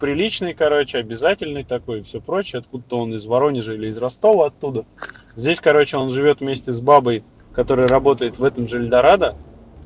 приличный короче обязательный такой всё прочее откуда он из воронежа или из ростова оттуда здесь короче он живёт вместе с бабой которая работает в этом же эльдорадо